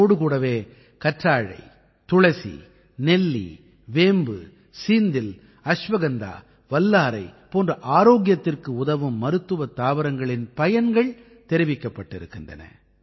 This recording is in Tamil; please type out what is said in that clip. இதோடு கூடவே கற்றாழை துளசி நெல்லி வேம்பு சீந்தில் அஸ்வகந்தா வல்லாரை போன்ற ஆரோக்கியத்திற்கு உதவும் மருத்துவத் தாவரங்களின் பயன்கள் தெரிவிக்கப்பட்டிருக்கின்றன